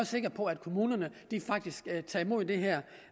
sikker på at kommunerne faktisk tager imod det her